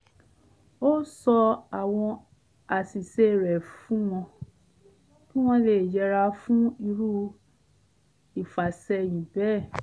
ó sọ àwọn àṣìṣe rẹ̀ fún wọn kí wọ̣́n lè yẹra fún irú ìfàsẹyìn bẹ́ẹ̀